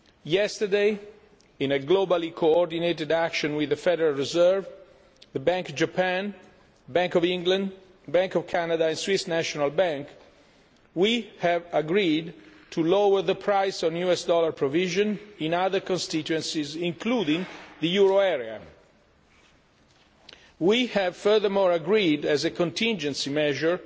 Yesterday, in a globally coordinated action with the Federal Reserve, the Bank of Japan, the Bank of England, the Bank of Canada and the Swiss National Bank, we have agreed to lower the price on US dollar provision in other constituencies including the euro area. We have furthermore agreed, as a contingency measure,